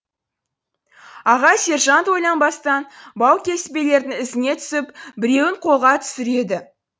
аға сержант ойланбастан баукеспелердің ізіне түсіп біреуін қолға түсіреді